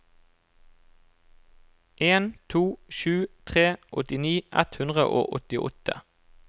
en to sju tre åttini ett hundre og åttiåtte